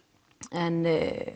en